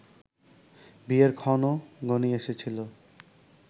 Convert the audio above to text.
বিয়ের ক্ষণও ঘনিয়ে এসেছিল